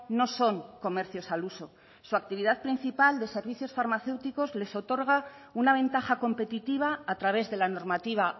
no son comercios al uso su actividad principal de servicios farmacéuticos les otorga una ventaja competitiva a través de la normativa